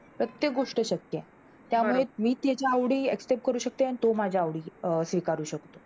प्रत्येक गोष्ट शक्य आहे. त्यामुळे मी त्याच्या आवडी Accept करते आणि तो माझ्या आवडी स्वीकारू शकतो.